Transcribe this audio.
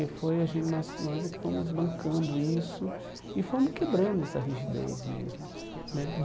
E foi a gen nós nós é que fomos bancando isso e fomos quebrando essa rigidez mesmo né.